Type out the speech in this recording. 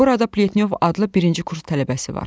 Burada Pletnyov adlı birinci kurs tələbəsi var.